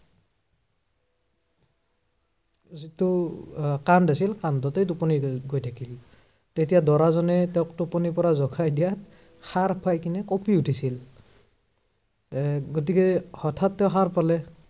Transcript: যিটো আহ কান্ধ আছিল, কান্ধতেই টোপনি, গৈ গৈ থাকিল। তেতিয়া দৰাজনে তেওঁক টোপনিৰ পৰা জগাই দিয়াত সাৰ পাই কেনে কঁপি উঠিছিল। এৰ গতিকে হঠাত তেওঁ সাৰ পাৰে।